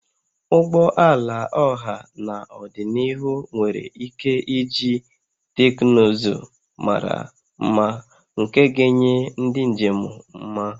Ụgbọ ala ọha n'ọdịniihu nwere ike iji teknụzụ mara mma nke ga-enye ndị njem mma